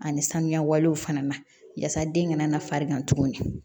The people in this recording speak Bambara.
Ani sanuya walew fana na yasa den kana na farigan tuguni